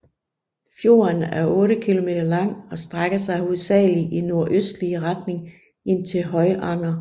Fjorden er otte kilometer lang og strækker sig hovedsagelig i nordøstlig retning ind til Høyanger